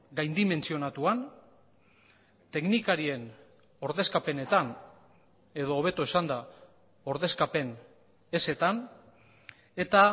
gaindimentsionatuan teknikarien ordezkapenetan edo hobeto esanda ordezkapen ezetan eta